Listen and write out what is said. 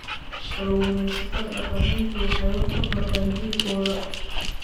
Kalluumaysatada dhaqameedku waxay wax ka bartaan jiilkooda.